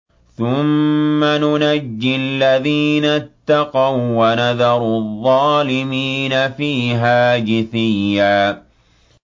ثُمَّ نُنَجِّي الَّذِينَ اتَّقَوا وَّنَذَرُ الظَّالِمِينَ فِيهَا جِثِيًّا